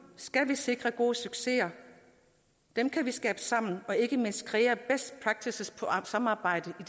skal vi sikre gode succeser dem kan vi skabe sammen og ikke mindst kreere best practices på samarbejdet i